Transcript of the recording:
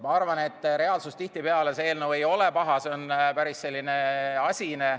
Ma arvan, et reaalsuses eelnõu tihtipeale ei olegi paha, see on päris asine.